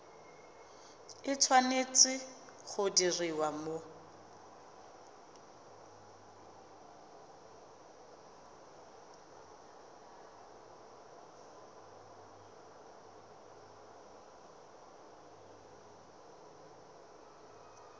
e tshwanetse go diriwa mo